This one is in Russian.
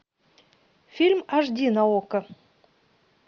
фильм аш ди на окко